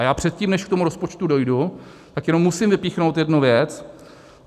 A já předtím, než k tomu rozpočtu dojdu, tak jenom musím vypíchnout jednu věc.